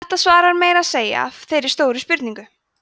þetta svarar meira að segja þeirri stóru spurningu